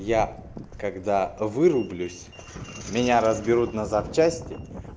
я когда вырублюсь меня разберут на запчасти